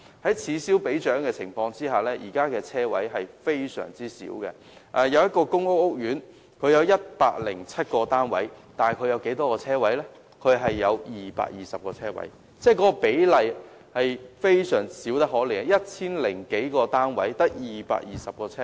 在此消彼長的情況下，現時的車位非常少，某個公屋屋苑單位合共有 1,007 個，但只有220個車位，比例小得可憐 ，1,000 多個單位只有240個車位。